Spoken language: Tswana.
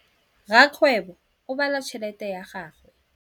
Rakgwêbô o bala tšheletê ya gagwe.